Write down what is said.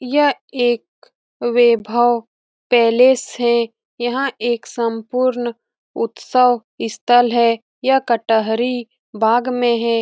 यह एक वैभव पैलेस है यहाँ एक सम्पूर्ण उत्सव स्थल है यह कटहरी बाग में है।